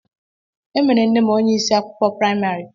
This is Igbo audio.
E mere nne m onye isi akwụkwọ praịmarị